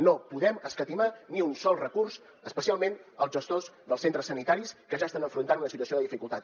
no podem escatimar ni un sol recurs especialment als gestors dels centres sanitaris que ja estan enfrontant una situació de dificultat